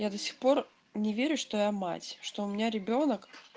я до сих пор не верю что я мать что у меня ребёнок